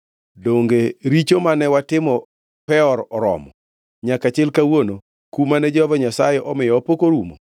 Donge richo mane watimo Peor oromo? Nyaka chil kawuono kum mane Jehova Nyasaye omiyowa pok orumo!